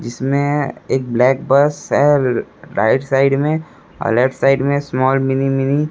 जिसमें एक black bus है राइट साइड में और लेफ्ट साइड में स्माल मिनी मिनी ।